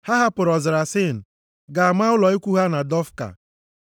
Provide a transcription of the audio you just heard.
Ha hapụrụ ọzara Sin gaa maa ụlọ ikwu ha na Dofka.